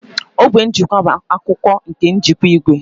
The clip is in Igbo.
Ogwe njikwa bụ akụkụ nke njikwa igwe